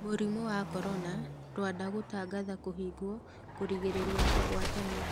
Mũrimũ wa corona: Rwanda gũtangatha 'kũhigwo' kũrigĩrĩria kũgwatania.